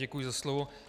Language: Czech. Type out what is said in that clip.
Děkuji za slovo.